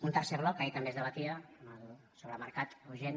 un tercer bloc que ahir també es debatia sobre mercat o gent